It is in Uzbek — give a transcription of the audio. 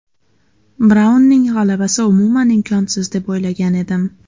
Braunning g‘alabasi umuman imkonsiz deb o‘ylagan edim.